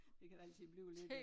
Det kan der altid blive lidt af